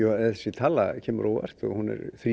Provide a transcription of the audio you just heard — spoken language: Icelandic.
þessi tala kemur mér á óvart hún er þrír